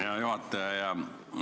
Hea juhataja!